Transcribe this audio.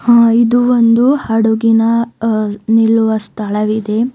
ಹಾ ಇದು ಒಂದು ಹಡುಗಿನ ಅಹ್ ನಿಲ್ಲುವ ಸ್ಥಳವಿದೆ.